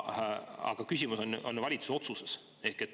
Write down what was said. Aga küsimus on ju valitsuse otsuses.